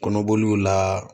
Kɔnɔboliw la